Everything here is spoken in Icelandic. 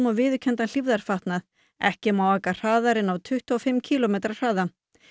viðurkenndan hlífðarfatnað ekki má aka hraðar en á tuttugu og fimm kílómetra hraða